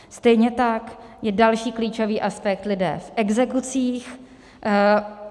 Stejně tak jsou další klíčový aspekt lidé v exekucích.